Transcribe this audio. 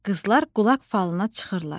Qızlar qulaq falına çıxırlar.